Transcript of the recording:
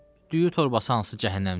Düyü torbası hansı cəhənnəmdədir?